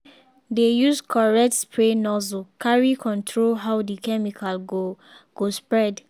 dey use correct spray nozzle carry control how the chemical go go spread.